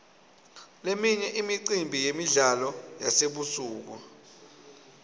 leminye imicimbi yemidlalo yasebusuku